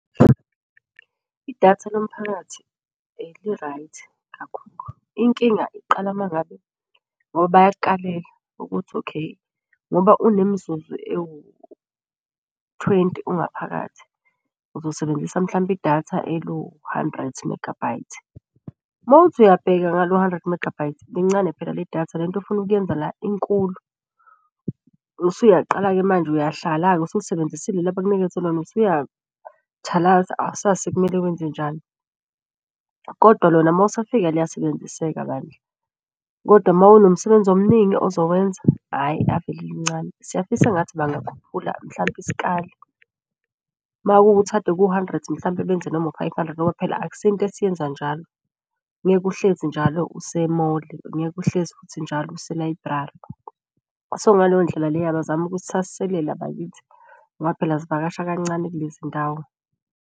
Idatha lomphakathi li-right inkinga iqala uma ngabe ngoba bayakukalela ukuthi okay ngoba unemizuzu ewu-twenty ungaphakathi uzosebenzisa mhlampe idatha eliwu hundred megabyte. Mawuthi uyabheka ngalo hundred megabyte lincane phela leli datha lento ofuna ukuyenza la inkulu. Usuyaqala-ke manje uyahlala-ke usulisebenzisile leli abakunikeze lona awusazi sekumele wenze njani, kodwa lona mawusafika liya sebenziseka bandla. Kodwa mawunomsebenzi omuningi ozokwenza, hhayi ave lilincane. Siyafisa engathi bakhuphula mhlampe isikali makuwukuthi bekuwu-hundred mhlampe benze noma u-five hundred ngoba phela akusiyo into esiyenza njalo. Ngeke uhlezi njalo use-mall, angeke uhlezi futhi njalo use-library. So ngaleyo ndlela leyo abazame ukusithasiselela bakithi ngoba phela zivakasha kancane kulezi ndawo.